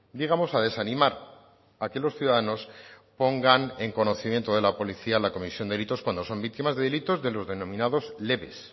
digamos a desanimar a que los ciudadanos pongan en conocimiento de la policía la comisión delitos cuando son víctimas de delitos de los denominados leves